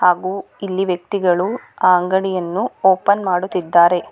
ಹಾಗು ಇಲ್ಲಿ ವ್ಯಕ್ತಿಗಳು ಆ ಅಂಗಡಿಯನ್ನು ಓಪನ್ ಮಾಡುತ್ತಿದ್ದಾರೆ.